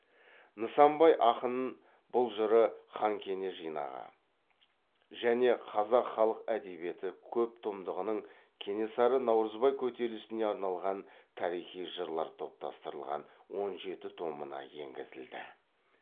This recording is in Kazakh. нысанбай ақынын бұл жыры хан кене жинағы және қазақ халык әдебиеті көп томдығының кенесары наурызбай көтерілісіне арналған тарихи жырлар топтастырылған он жеті томына енгізілді